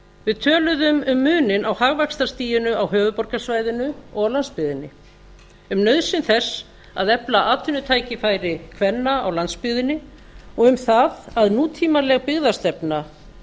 við töluðum um muninn á hagvaxtarstiginu á höfuðborgarsvæðinu og á landsbyggðinni um nauðsyn þess að efla atvinnutækifæri kvenna á landsbyggðinni og um það að nútímaleg byggðastefna